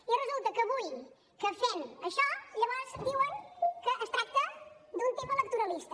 i resulta que avui que fem això llavors diuen que es tracta d’un tema electoralista